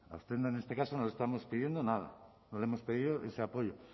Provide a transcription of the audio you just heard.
a usted en este caso no le estamos pidiendo nada no le hemos pedido ese apoyo